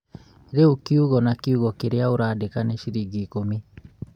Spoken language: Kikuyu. rĩu kiugo na kiugo kĩrĩa ũrandĩka nĩ ciringi ikũmi